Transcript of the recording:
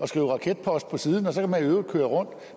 skrive raketpost på siden og så i øvrigt køre rundt